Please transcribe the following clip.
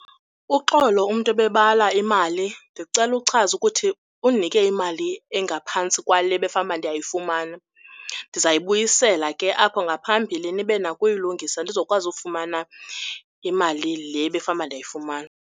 Uxolo, umntu obebala imali. Ndicela ukuchaza ukuthi undinike imali engaphantsi kwale bekufanuba ndiyayifumana. Ndizayibuyisela ke apho ngaphambili nibenako uyilungisa ndizokwazi ufumana imali le bekufanuba ndiyiayifumana.